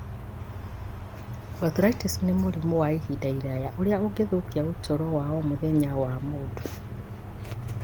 Arthritis nĩ mũrimũ wa ihinda iraya ũrĩa ũgĩthũkia ũtũũro wa o mũthenya wa mũndũ.